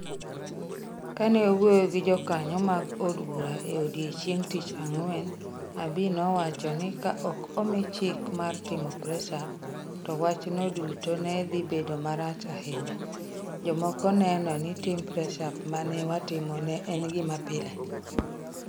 Kane owuoyo gi jokanyo mag od bura e odiechieng ' Tich Ang'wen , Abiy nowacho ni ka ok omi chik mar timo press ups, to wachno duto ne dhi bedo marach ahinya .. jomoko neno ni timo press ups ma ne watimo ne en gima pile.